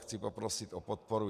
Chci poprosit o podporu.